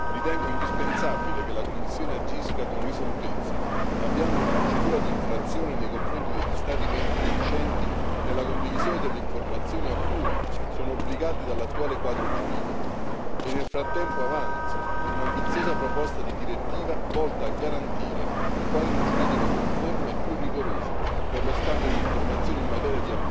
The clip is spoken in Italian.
Ritengo indispensabile che la Commissione agisca con risolutezza, avviando una procedura di infrazione nei confronti degli Stati membri reticenti nella condivisione delle informazioni a cui sono obbligati dall'attuale quadro giuridico, e nel frattempo avanzi un'ambiziosa proposta di direttiva volta a garantire un quadro giuridico conforme e più rigoroso per lo scambio di informazioni in materia di applicazione della legge e di intelligence a livello di Unione.